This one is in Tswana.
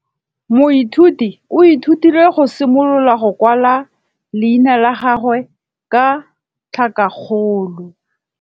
Moithuti o ithutile go simolola go kwala leina la gagwe ka tlhakakgolo.